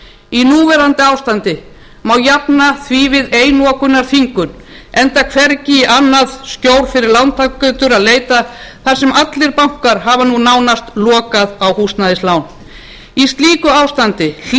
í núverandi ástandi má jafna því við einokunarþvingun enda hvergi í annað skjól fyrir lántakendur að leita þar sem allir bankar hafa nú nánast lokað á húsnæðislán í slíku ástandi hlýtur að